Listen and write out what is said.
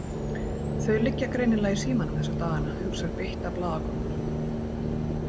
Þau liggja greinilega í símanum þessa dagana, hugsar beitta blaðakonan.